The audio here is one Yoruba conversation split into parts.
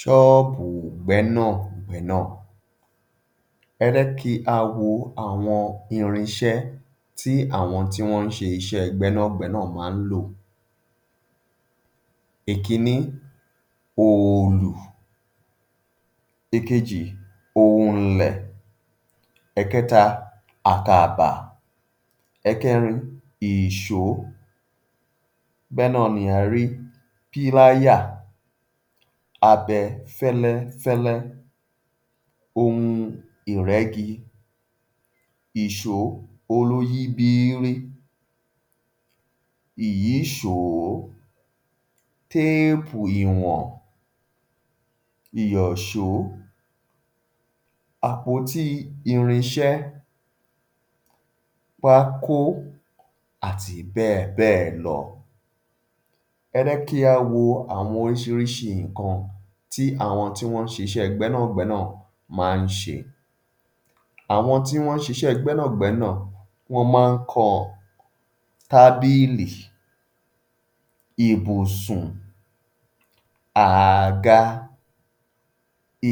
Ṣọ́ọ̀bù gbẹ́nà-gbẹ́nà. Ẹ jẹ́ kí á wo àwọn irin iṣẹ́ tí àwọn tí wọ́n ń ṣe iṣẹ́ gbẹ́nà-gbẹ́nà má ń lò. Ìkínní, òòlù, ìkejì òǹlẹ̀, ẹ̀kẹẹ̀ta àkàbà, ẹ̀kẹrin ìṣó, bẹ́ẹ̀ náà ni a rí píláyà, abẹ fẹ́lẹ́-fẹ́lẹ́, ohun ìrẹ́gi, ìṣó olúyíbírí, ìyíṣòó, téèpù ìwàn, ìyọ̀só, àpótí irin iṣẹ́, pákó àti bẹ́ẹ̀ bẹ́ẹ̀ lọ. Ẹ jẹ́ kí á wo àwọn oríṣiríṣi nǹkan tí àwọn tí wọ́n ń ṣe iṣẹ́ gbẹ́nà-gbẹ́nà má ń ṣe. Àwọn tí wọ́n ń ṣe iṣẹ́ gbẹ́nà-gbẹ́nà má ń kan tábìlì, ibùsùn, ààga,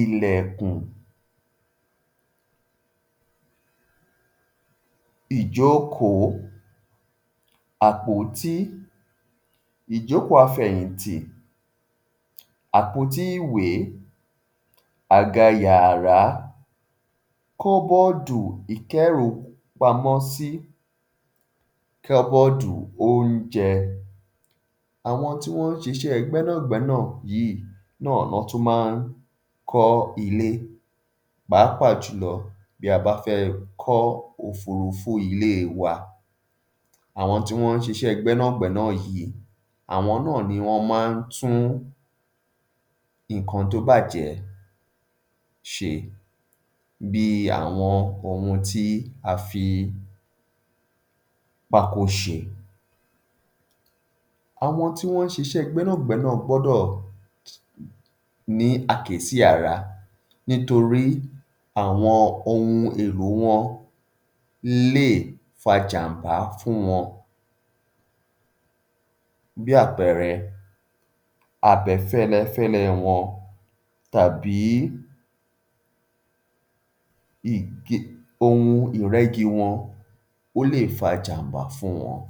ilẹ̀kùn, ìjókòó, àpótí, ìjókòó àfẹ̀yìntì, àpótí ìwé, àga yàrá, kóóbóòdù ìkẹ́rùpamọ́sí, kóóbóòdù óúnjẹ. Àwọn tí wọ́n ń ṣiṣẹ́ gbẹ́nà-gbẹ́nà yíì wọ́n tún má ń kọ́ ilé, pàápàá jù lọ bí a bá fẹ́ kọ́ òfúrúfú ilé wa. Àwọn tí wọ́n ń ṣiṣẹ́ gbẹ́nà-gbẹ́nà yìí àwọn náà ni wọ́n má ń tún nǹkan tó bàjẹ́ ṣe bí i àwọn ohun tí a fi pákó ṣe. Àwọn tí wọ́n ń sise gbẹ́nà-gbẹ́nà gbọ́dọ̀ ní àkíyèsí ara nítorí àwọn ohun èlò wọn lè fa ’jàm̀bá fún wọn, bí àpẹẹrẹ abẹ fẹ́lẹ́-fẹ́lẹ́ wọn tàbí ohun ìrẹ́gi wọn, ó lè fa ’jàm̀bá fún wọn.